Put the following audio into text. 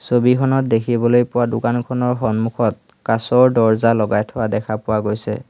ছবিখনত দেখিবলৈ পোৱা দোকানখনৰ সন্মুখত কাঁচৰ দৰ্জা লগাই থোৱা দেখা পোৱা গৈছে।